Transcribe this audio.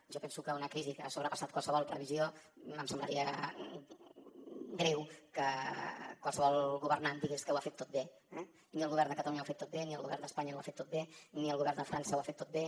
jo penso que en una crisi que ha sobrepassat qualsevol previsió em semblaria greu que qualsevol governant digués que ho ha fet tot bé eh ni el govern de catalunya ho ha fet tot bé ni el govern d’espanya ho ha fet tot bé ni el govern de frança ho ha fet tot bé